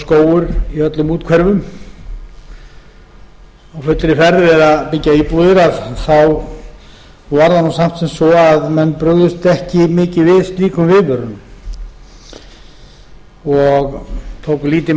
skógur í öllum úthverfum á fullri ferð við að byggja íbúðir var það nú samt svo að menn brugðust ekki mikið við slíkum viðvörunum og tóku lítið